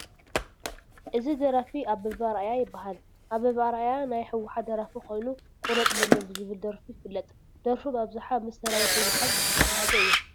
እዚ ደራፊ ኣበበ ኣርኣያ ይበሃል፡፡ ኣበበ ኣርኣያ ናይ ሕወሓት ደራፊ ኮይኑ ቁረፅ በሎ ብዝብል ደርፉ ይፍለጥ፡፡ ደርፉ ብኣብዝሓ ምስ ሰራዊት ሕወሓት ዝተተሐሓዘ እዩ፡፡